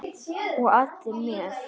Og allir með.